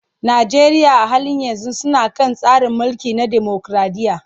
Najeriya a halin yanzu suna kan tsari mulki na demokraɗiyya.